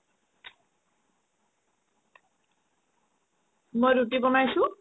মই ৰুতি বনাইছো